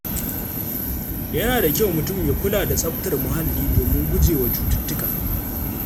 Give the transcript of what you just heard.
Yana da kyau mutum ya kula da tsaftar muhalli domin gujewa cututtuka.